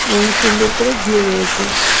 এবং সুন্দর করে ঘিরে রয়েছে।